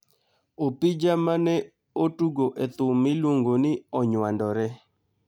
Opija ma ne otugo e thum miluongo ni Onywandore.